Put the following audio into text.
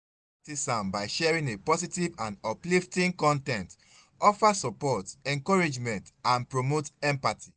i fit practice am by sharing a positive and uplifting con ten t offer support encouragement and promote empathy.